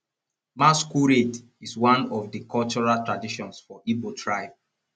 masquerade is one of di cultural traditions for igbo tribe